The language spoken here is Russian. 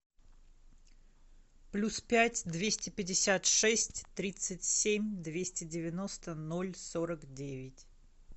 плюс пять двести пятьдесят шесть тридцать семь двести девяносто ноль сорок девять